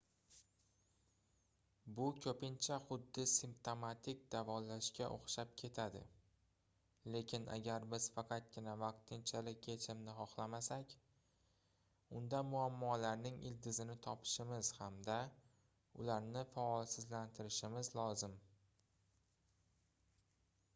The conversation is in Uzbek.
bu koʻpincha xuddi simptomatik davolashga oʻxshab ketadi lekin agar biz faqatgina vaqtinchalik yechimni xohlamasak unda muammolarning ildizini topishimiz hamda ularni faolsizlantirishimiz lozim